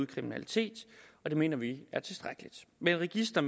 kriminalitet og det mener vi er tilstrækkeligt med et register